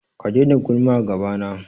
Ka daina gulma a gabana.